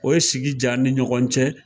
O ye sigi ja an ni ɲɔgɔn cɛ.